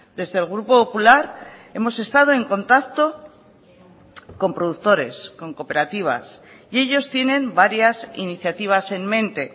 desde el grupo popular hemos estado en contacto con productores con cooperativas y ellos tienen varias iniciativas en mente